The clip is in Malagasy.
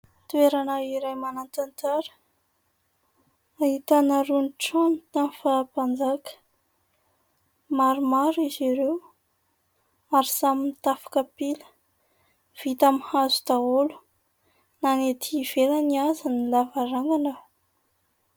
Toerana iray manan-tantara ahitana irony trano tamin'ny fahampanjaka, maromaro izy ireo ary samy mitafo kapila, vita amin'ny hazo daholo na ny ety ivelany aza ny lavarangana.